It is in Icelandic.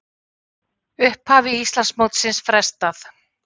Upphafi Íslandsmótsins frestað